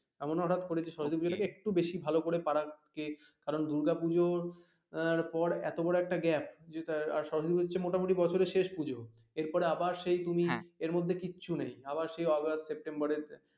এমন হঠাৎ করে সরস্বতী পূজো টাকে একটু বেশি ভালো করে পাড়াকে কারন দুর্গা পুজোর আহ পর আহ এতো বড় একটা গপ্প যেটা সরস্বতী পূজো হচ্ছে মোটামুটি বছরের শেষ পূজো এরপরে আবার সেই তুমি এর মধ্যে কিচ্ছু নেই আবার সেই আগস্ট সেপ্টেম্বর এ